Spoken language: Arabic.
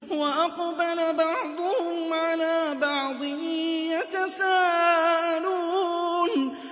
وَأَقْبَلَ بَعْضُهُمْ عَلَىٰ بَعْضٍ يَتَسَاءَلُونَ